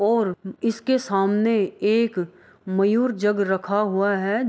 और इसके सामने एक-क मयूर जग रखा हुआ है।